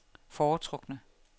foretrukne